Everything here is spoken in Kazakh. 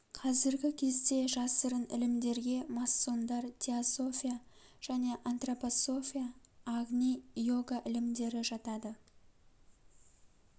қазіргі кезде жасырын ілімдерге масондар теософия және антропософия агни йога ілімдері жатады